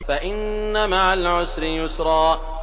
فَإِنَّ مَعَ الْعُسْرِ يُسْرًا